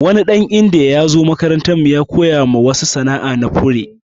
Wani dan indiya ya zo makarantan mu ya koya wadansu sana'a na fure.